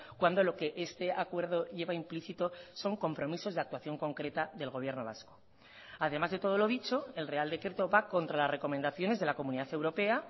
cuando lo que este acuerdo lleva implícito son compromisos de actuación concreta del gobierno vasco además de todo lo dicho el real decreto va contra las recomendaciones de la comunidad europea